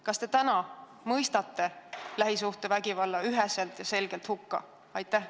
Kas te täna mõistate lähisuhtevägivalla üheselt ja selgelt hukka?